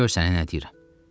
Gör sənə nə deyirəm.